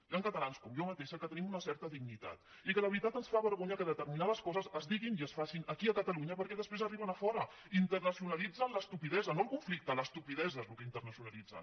hi han catalans com jo mateixa que tenim una certa dignitat i que la veritat ens fa vergonya que determinades coses es diguin i es facin aquí a catalunya perquè després arriben a fora internacionalitzen l’estupidesa no el conflicte l’estupidesa és el que internacionalitzen